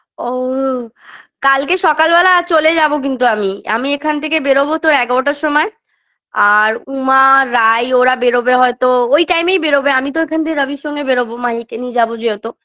ও ও কালকে সকালবেলা চলে যাব কিন্তু আমি আমি এখান থেকে বেরোবো তোর এগারটার সময় আর উমা রাই ওরা বেরোবে হয়তো ওই time -এই বেরোবে আমি তো এখান দিয়ে রবির সঙ্গে বেরোবো মাহিকে নিয়ে যাব যেহেতু